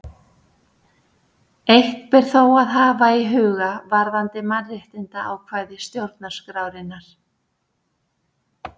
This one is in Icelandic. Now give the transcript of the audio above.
Eitt ber þó að hafa í huga varðandi mannréttindaákvæði stjórnarskrárinnar.